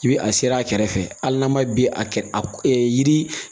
I bi a seri a kɛrɛfɛ hali n'a ma bi a kɛrɛ a yiri